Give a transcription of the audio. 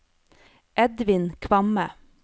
Edvin Kvamme